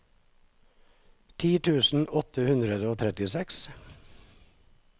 ti tusen åtte hundre og trettiseks